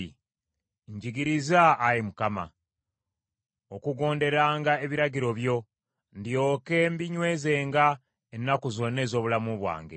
Njigiriza, Ayi Mukama , okugonderanga ebiragiro byo; ndyoke mbinywezenga ennaku zonna ez’obulamu bwange.